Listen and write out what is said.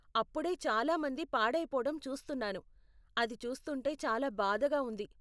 అప్పుడే చాలా మంది పాడైపోవటం చూస్తున్నాను, అది చూస్తుంటే చాలా బాధగా ఉంది.